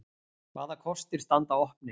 Hvaða kostir standa opnir?